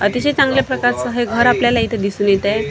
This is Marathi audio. अतिशय चांगल्या प्रकारच हे घर आपल्याला इथ दिसून येत आहे.